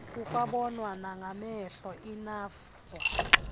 kukwabonwa nangamehlo inafvsa